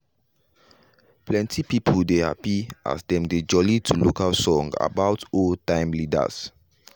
plenti pipo dey happy as dem dey jolly to local song about old time leader.